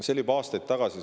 See oli juba aastaid tagasi.